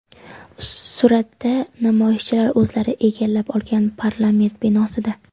Suratda: namoyishchilar o‘zlari egallab olgan parlament binosida.